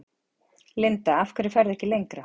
Linda: Af hverju ferðu ekki lengra?